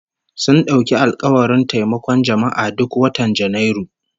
Sun dauki alkawarin taimakon jama'a duk watan Janairu